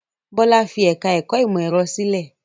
Bọ́lá fi ẹ̀ka-ẹ̀kọ́ ìmọ̀-ẹ̀rọ sílẹ̀?